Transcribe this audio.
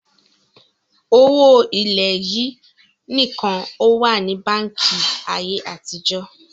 Owó ilẹ̀ yìí nìkan ó wà ní báńkì ayé àtijọ́